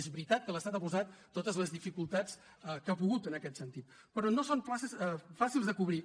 és veritat que l’estat ha posat totes les dificultats que ha pogut en aquest sentit però no són places fàcils de cobrir